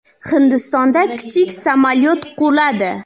Hindistonda kichik samolyot quladi.